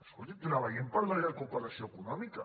escoltin treballem per la recuperació econòmica